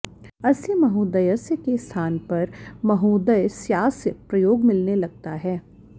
अस्य महोदयस्य के स्थान पर महोदयस्यास्य प्रयोग मिलने लगता है